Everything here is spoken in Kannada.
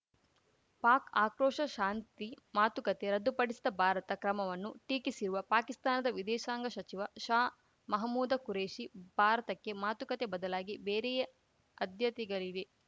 ಪಾಕ್‌ ಆಕ್ರೋಶ ಶಾಂತಿ ಮಾತುಕತೆ ರದ್ದುಪಡಿಸಿದ ಭಾರತ ಕ್ರಮವನ್ನು ಟೀಕಿಸಿರುವ ಪಾಕಿಸ್ತಾನದ ವಿದೇಶಾಂಗ ಸಚಿವ ಶಾ ಮಹಮೂದ ಖುರೇಷಿ ಭಾರತಕ್ಕೆ ಮಾತುಕತೆ ಬದಲಾಗಿ ಬೇರೆಯೇ ಆಧ್ಯತೆಗಳಿವೆ